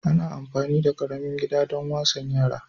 Ana amfani da ƙaramin gida don wasan yara